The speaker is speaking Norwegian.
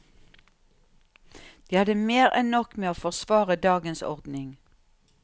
De hadde mer enn nok med å forsvare dagens ordning.